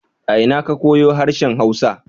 A ina ka koyu harshen hausa?